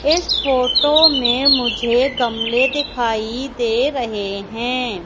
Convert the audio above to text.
इस फोटो में मुझे गमले दिखाई दे रहे हैं।